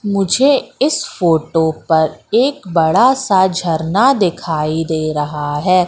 मुझे इस फोटो पर एक बड़ा सा झरना दिखाई दे रहा है।